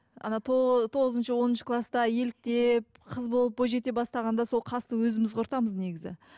ана тоғызыншы оныншы класта еліктеп қыз болып бойжете бастағанда сол қасты өзіміз құртамыз негізі